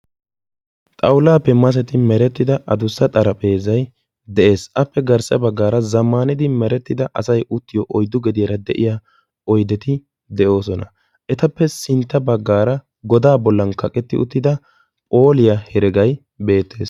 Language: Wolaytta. xawulaappe masetti meretida adussa xaraphezay dees. appe sintaa bagaara asay uttiyo oyddu gediyara de'iya oydeti de'oososna. appe guye bagaara godan kaqetti uttida phooliya heregay beetees.